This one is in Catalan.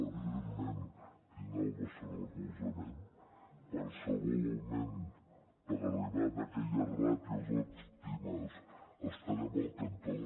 evidentment tindrà el nostre recolzament qualsevol augment per arribar a aquelles ràtios òptimes hi estarem al costat